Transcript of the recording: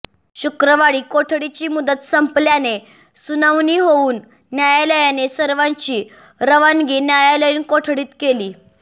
शुक्रवारी कोठडीची मुदत संपल्याने सुनावणी होवून न्यायालयाने सर्वांची रवानगी न्यायालयीन कोठडीत केली